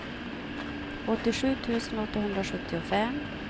åttiosju tusen åttahundrasjuttiofem